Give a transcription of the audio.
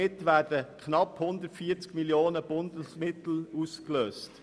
Damit werden knapp 140 Mio. Franken Bundesmittel ausgelöst.